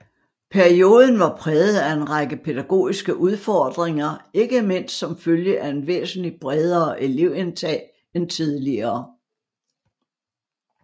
Perioden var præget af en række pædagogiske udfordringer ikke mindst som følge af et væsentligt bredere elevindtag end tidligere